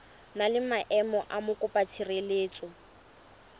na le maemo a mokopatshireletso